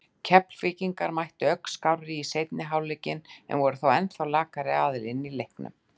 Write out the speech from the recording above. Keflvíkingar mættu ögn skárri í seinni hálfleikinn en voru þó ennþá lakari aðilinn í leiknum.